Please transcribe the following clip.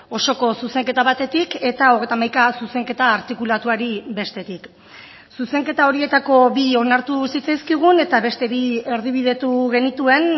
osoko zuzenketa batetik eta hogeita hamaika zuzenketa artikulatuari bestetik zuzenketa horietako bi onartu zitzaizkigun eta beste bi erdibidetu genituen